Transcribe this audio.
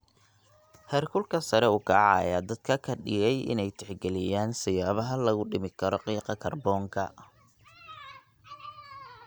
Heerkulka sare u kaca ayaa dadka ka dhigay inay tixgeliyaan siyaabaha lagu dhimi karo qiiqa kaarboonka.